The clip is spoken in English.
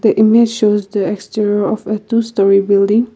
the image shows the exterior of a to story building.